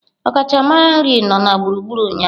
Ọkachamara nri nọ na gburugburu ụnyaahụ.